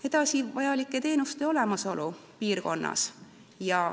Edasi, vajalike teenuste olemasolu piirkonnas.